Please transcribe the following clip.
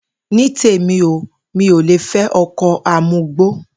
Ní tèmi o, mi ò le fé̩ o̩ko̩ amugbó